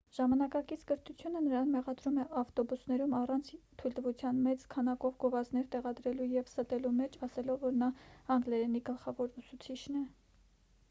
ժամանակակից կրթությունը նրան մեղադրում է ավտոբուսներում առանց թույլատվության մեծ քանակով գովազդներ տեղադրելու և ստելու մեջ ասելով որ նա անգլերենի գլխավոր ուսուցիչն է